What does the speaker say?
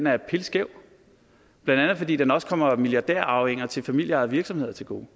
er pilskæv blandt andet fordi den også kommer milliardærarvinger til familieejede virksomheder til gode